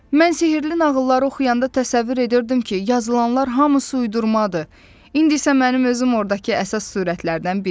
Mən sehirli nağılları oxuyanda təsəvvür edirdim ki, yazılanlar hamısı uydurmadır, indi isə mənim özüm ordakı əsas sürətlərdən biriyəm.